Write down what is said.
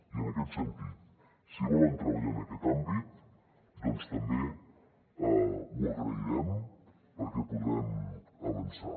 i en aquest sentit si volen treballar en aquest àmbit doncs també ho agrairem perquè podrem avançar